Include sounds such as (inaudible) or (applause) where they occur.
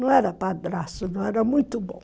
Não era padrasto, (unintelligible) era muito bom.